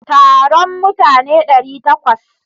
Taron mutane ɗari takwas.